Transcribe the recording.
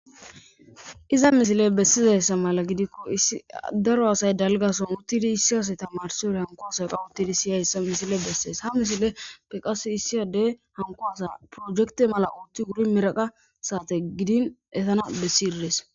Iza misile bessizassa mala gidikko isi daro asay dalgason uttidi issi asay tamarsi wore hanko asay qa uttidi siyayssa misile bessees ha misile peqas issiyadey hanko asa projekte mala uutti wuri miraqa saate gidin etana bessi irdees.